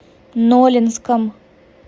нолинском